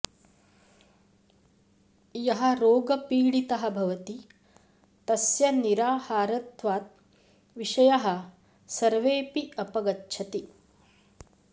यः रोगपीडितः भवति तस्य निराहारत्वात् विषयाः सर्वेऽपि अपगच्छन्ति